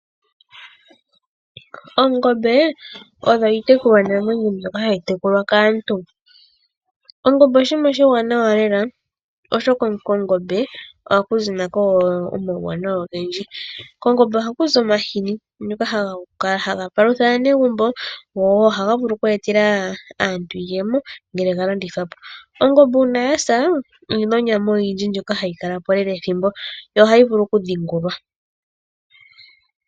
Ongombe, oyo iitekulwanamwenyo mbyoka hayi tekulwa kaantu. Ongombe oshinima oshiwanawa lela, oshoka kongombe oha ku zi nako wo omawuwanawa ogendji. Kongombe oha ku zi omahini ngoka haga palutha aanegumbo go ohaga vulu okweetela aantu iiyemo ngele ga landithwa po. Ongombe uuna ya sa, oyina onyama oyindji ndjoka hayi kala po lela ethimbo yo ohayi vulu oku dhingulwa.